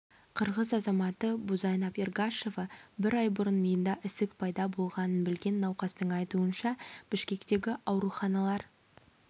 қырғыз азаматы бузайнап эргашева бір ай бұрын миында ісік пайда болғанын білген науқастың айтуынша бішкектегі ауруханалар